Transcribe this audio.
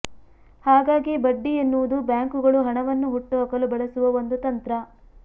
ಹಾಗಾಗಿ ಬಡ್ಡಿ ಎನ್ನುವುದು ಬ್ಯಾಂಕುಗಳು ಹಣವನ್ನು ಹುಟ್ಟುಹಾಕಲು ಬಳಸುವ ಒಂದು ತಂತ್ರ